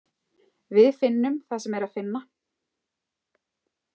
Við finnum það sem er að finna.